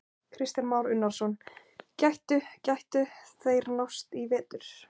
Kristján Már Unnarsson: Gætu, gætu þeir nást í vetur?